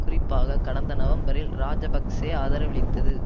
குறிப்பாக கடந்த நவம்பரில் இராஜபக்ஷ ஆதரவளித்தது